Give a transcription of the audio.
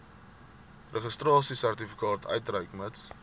registrasiesertifikaat uitreik mits